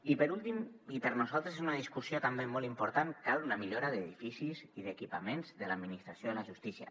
i per últim i per nosaltres és una discussió també molt important cal una millora d’edificis i d’equipaments de l’administració de la justícia